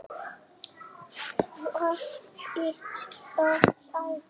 Hvað heita þær?